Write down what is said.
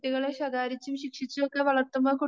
കുട്ടികളെ ശകാരിച്ചും ശിക്ഷിച്ചുമൊക്കെ വളർത്തുമ്പോൾ